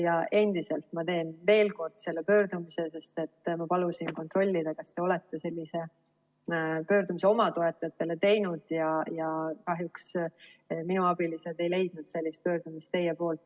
Ja endiselt, ma teen veel kord selle pöördumise, sest et ma palusin kontrollida, kas te olete sellise pöördumise oma toetajatele teinud, ja kahjuks minu abilised ei leidnud sellist pöördumist teie poolt.